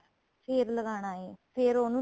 ਫ਼ੇਰ ਲਗਾਣਾ ਏ ਫ਼ੇਰ ਉਹਨੂੰ